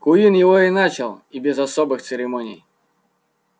куинн его и начал и без особых церемоний